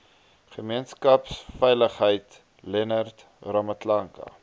gemeenskapsveiligheid leonard ramatlakane